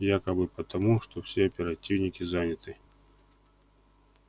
якобы потому что все оперативники заняты